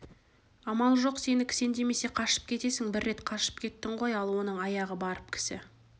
амал жоқ сені кісендемесе қашып кетесің бір рет қашып кеттің ғой ал оның аяғы барып кісі